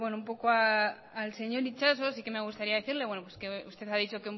al señor itxaso sí que me gustaría decirle que usted ha dicho